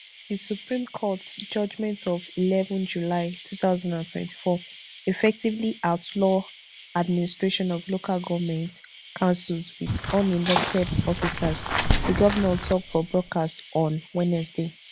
di supreme court judgment of eleven july two thousand and twenty-four effectively outlaw administration of local goment councils wit unelected officers di govnor tok for broadcast on wednesday